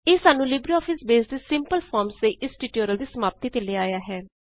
ਇਹ ਸਾਨੂੰ LibreOffice base ਦੇ ਸਿੰਪਲ ਫੋਰਮਸ ਦੇ ਇਸ ਟਯੂਟੋਰਿਯਲ ਦੀ ਸਮਾਪਤੀ ਤੇ ਲੈ ਆਇਆ ਹੈ